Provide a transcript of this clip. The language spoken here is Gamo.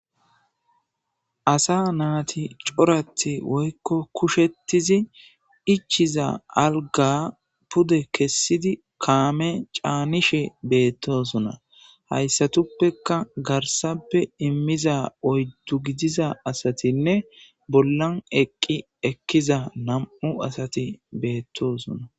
Asa naati corati woykko kushettizi ichiza alga pude kessidi kaame caanishe beettosona hayssatuppeka garsappe immiza oyddu gidiza asatinne bollan eqqi ekkiza nam7u asati beettosona.